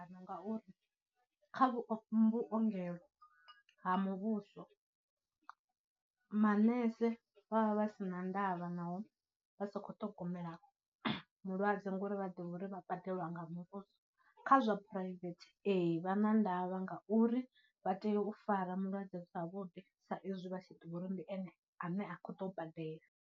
Ngauri kha vhuongelo ha muvhuso manese vha vha vha sina ndavha naho vha sa khou ṱhogomela mulwadze ngauri vha ḓivha uri vha badelwa nga muvhuso, kha zwa private ee, vha na ndavha ngauri vha tea u fara mulwadze zwavhuḓi sa izwi vha tshi ḓivha uri ndi ene ane a khou ḓo badela.